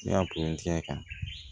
Ne y'a pɛntiri kan